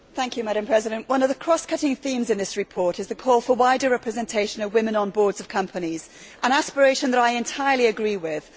Madam President, one of the cross cutting themes in this report is the call for wider representation of women on boards of companies, an aspiration that I entirely agree with.